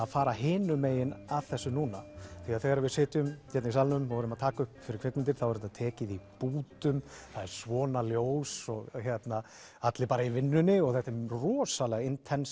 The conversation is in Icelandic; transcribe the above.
fara hinum megin að þessu núna þegar við sitjum hérna í salnum og erum að taka upp fyrir kvikmyndir þá er þetta tekið í bútum það er svona ljós og hérna allir bara í vinnunni og þetta er rosalega